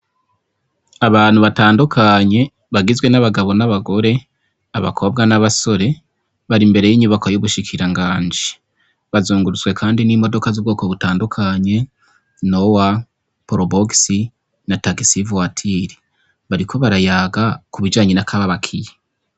Abantu butandukanye bagizwe n'abagabo n'abagore, abakobwa n'abasore, bari imbere y'inyubakwa y' ubushikiranganji. Bazungurutswe kandi n'imodoka z'ubwoko butandukanye, nowa, probox na taxi voiture. Bariko barayaga ku bijanye n'akababakiye.